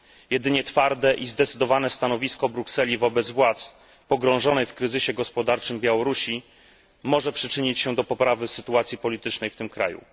Jedynie twarde i zdecydowane stanowisko Brukseli wobec władz pogrążonej w kryzysie gospodarczym Białorusi może przyczynić się do poprawy sytuacji politycznej w tym kraju.